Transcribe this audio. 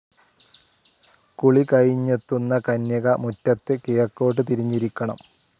കുളി കഴിഞ്ഞെത്തുന്ന കന്യക മുറ്റത്ത് കിഴക്കോട്ടു തിരിഞ്ഞിരിക്കണം.